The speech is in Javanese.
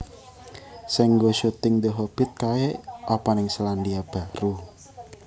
Sing nggo syuting The Hobbit kae opo ning Selandia Baru?